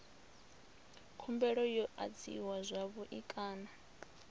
khumbelo yo adziwa zwavhui kana